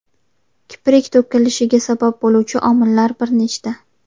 Kiprik to‘kilishiga sabab bo‘luvchi omillar bir nechta.